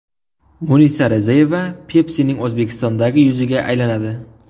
Munisa Rizayeva Pepsi’ning O‘zbekistondagi yuziga aylanadi.